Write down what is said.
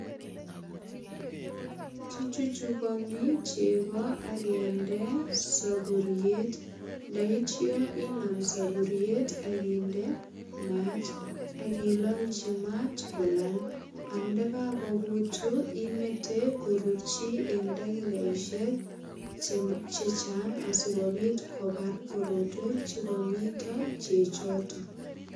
Kichuchugani chego akende sapuriet ndaitya inam sapuriet ak indemat ak ilalji mat kolal. Ndagakogut imete korurchi eng dakikaisiek che chang asigopit kobar korotwek che kamito chechoto.